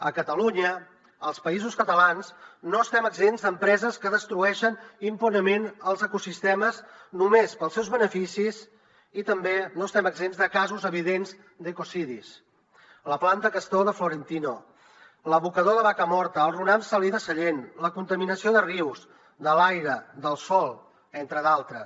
a catalunya als països catalans no estem exempts d’empreses que destrueixen impunement els ecosistemes només pels seus beneficis i tampoc estem exempts de casos evidents d’ecocidis la planta castor de florentino l’abocador de vacamorta el runam salí de sallent la contaminació de rius de l’aire del sòl entre d’altres